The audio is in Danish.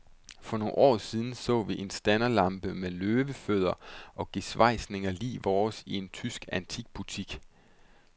For nogle år siden så vi en standerlampe med løvefødder og gesvejsninger lig vores i en tysk antikbutik.